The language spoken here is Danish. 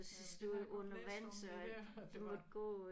Jamen det har jeg godt læst om det der at det var